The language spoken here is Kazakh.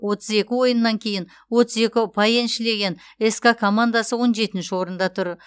отыз екі ойыннан кейін отыз екі ұпай еншілеген ска командасы он жетінші орында тұр